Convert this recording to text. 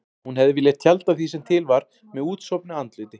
Hún hefði viljað tjalda því sem til var með útsofnu andliti.